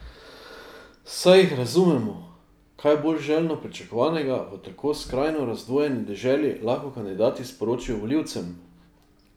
Saj jih razumemo, kaj bolj željno pričakovanega v tako skrajno razdvojeni deželi lahko kandidati sporočijo volivcem?